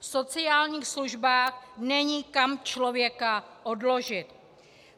V sociálních službách není kam člověka odložit.